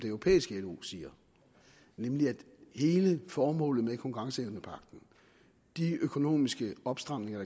det europæiske lo siger nemlig at hele formålet med konkurrenceevnepagten de økonomiske opstramninger